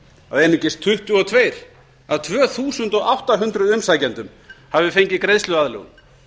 að einungis tuttugu og tvö af tvö þúsund átta hundruð umsækjendum hafi fengið greiðsluaðlögun